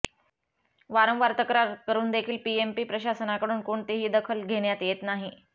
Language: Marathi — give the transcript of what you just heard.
वारंवार तक्रार करून देखील पीएमपी प्रशासनाकडून कोणतीही दखल घेण्यात येत नाही